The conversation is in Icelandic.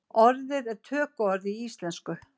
Orðið er tökuorð í íslensku.